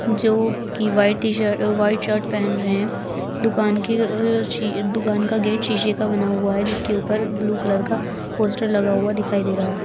जो की white t shirt white shirt पहन रहे हैं दुकान की अ सी दुकान की गेट शीशे का बना हुआ है जिसके ऊपर ब्लू कलर का पोस्टर लगा हुआ दिखाई दे रहा है।